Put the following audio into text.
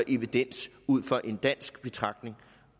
evidens ud fra en dansk betragtning